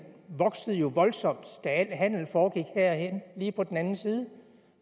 voksede jo voldsomt da al handel foregik herinde lige på den anden side